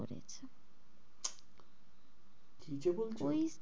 বলছো? ওই